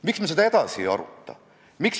Peaksime juba seadusaktides saama ilusa eesti keele.